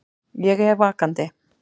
Ég er vakandi.